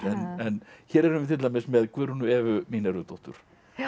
en hér erum við til dæmis með Guðrúnu Evu Mínervudóttur